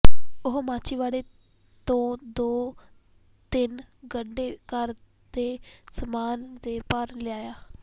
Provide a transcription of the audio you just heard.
ਉਹ ਮਾਛੀਵਾੜੇ ਤੋਂ ਦੋ ਤਿੰਨ ਗੱਡੇ ਘਰ ਦੇ ਸਮਾਨ ਦੇ ਭਰ ਲਿਆਇਆ